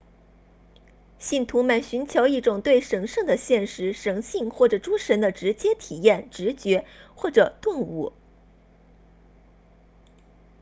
信徒们寻求一种对神圣的现实神性或诸神的直接体验直觉或者顿悟